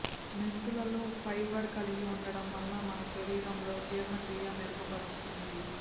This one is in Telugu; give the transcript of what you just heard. మెంతులలో ఫైబర్ కలిగి ఉండటం వల్ల మన శరీరంలో జీర్ణక్రియ మెరుగుపరుస్తుంది